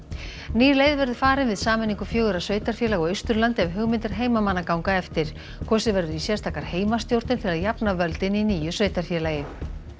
ný leið verður farin við sameiningu fjögurra sveitarfélaga á Austurlandi ef hugmyndir heimamanna ganga eftir kosið verður í sérstakar heimastjórnir til að jafna völdin í nýju sveitarfélagi